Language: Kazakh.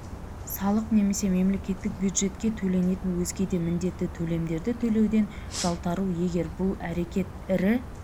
салық немесе мемлекеттік бюджетке төленетін өзге де міндетті төлемдерді төлеуден жалтару егер бұл әрекет ірі